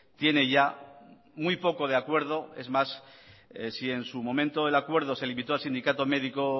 tiene ya muy poco de acuerdo es más si en su momento el acuerdo se limitó a sindicato médico